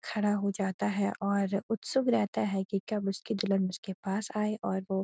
खड़ा हो जाता है और उत्‍सुक रहता है कि कब उसकी दुल्‍हन उसके पास आए और वो --